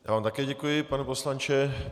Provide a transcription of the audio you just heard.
Já vám také děkuji, pane poslanče.